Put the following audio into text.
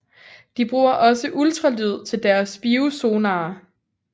De bruger også ultralyd til deres biosonar